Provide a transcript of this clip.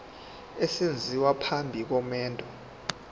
esenziwa phambi komendo